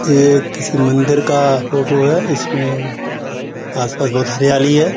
ये किसी मंदिर का फ़ोटो है। इसमें आसपास बहुत हरियाली है।